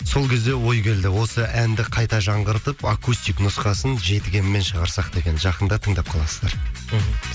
сол кезде ой келді осы әнді қайта жаңғыртып акустик нұсқасын жетігенмен шығарсақ деген жақында тыңдап қаласыздар мхм